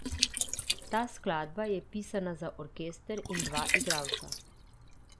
Ta skladba je pisana za orkester in dva igralca.